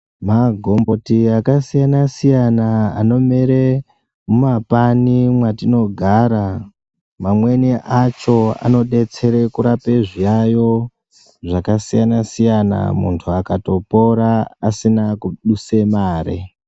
Magomboti akasiyana-siyana anomere mumapani mwaitinogara, mamweni acho anodetsera kurapa zviyaiyo zvakasiyana-siyana, muntu akatopora asina kuduse mare.